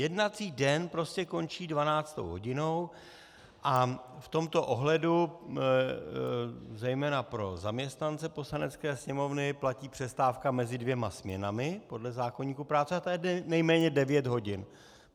Jednací den prostě končí dvanáctou hodinou a v tomto ohledu zejména pro zaměstnance Poslanecké sněmovny platí přestávka mezi dvěma směnami podle zákoníku práce a ta je nejméně devět hodin.